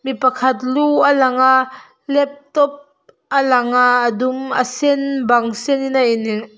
mi pakhat lu a lang a laptop a lang a a dum a sen bang sen in a in--